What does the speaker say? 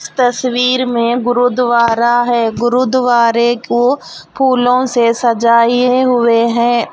तस्वीर में गुरुद्वारा है गुरुद्वारे को फूलों से सजाए हुए हैं और--